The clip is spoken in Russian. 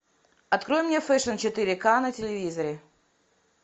открой мне фэшн четыре ка на телевизоре